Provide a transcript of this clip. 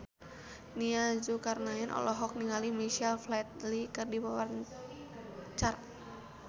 Nia Zulkarnaen olohok ningali Michael Flatley keur diwawancara